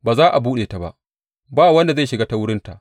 Ba za a buɗe ta ba; ba wanda zai shiga ta wurinta.